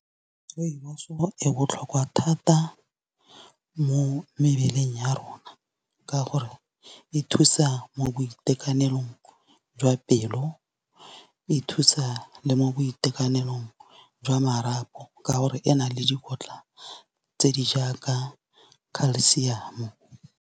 Rooibos e botlhokwa thata mo mebeleng ya rona. Ka gore e thusa mo boitekanelong jwa pelo o e thusa le mo boitekanelong jwa marapo, ka gore e na le dikotla tse di jaaka culcium.